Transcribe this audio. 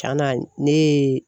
Tiɲana ne ye